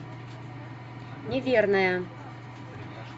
неверная